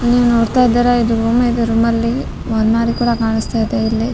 ನೀವು ನೋಡ್ತಾ ಇದ್ದೀರಾ ಇದು ರೂಮೇ ಇದೆ ರೂಮಲ್ಲಿ ಒಂದ್ ಮಾರಿ ಕೂಡ ಕಾಣ್ಸ್ತಾ ಇದೆ ಇಲ್ಲಿ